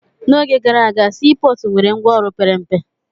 N'oge gara aga, sii pọọtụ nwere ngwaọrụ pere mpe.